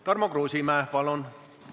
Tarmo Kruusimäe, palun!